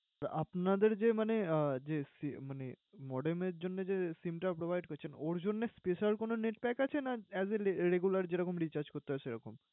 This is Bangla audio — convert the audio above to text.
তো আপনাদের যে মানে আহ যে মানে modem এর জন্যে যে SIM টা provide করছেন, ওর জন্যে special কোনো net pack আছে না as a regular যে রকম recharge করতে হয়, সে রকম?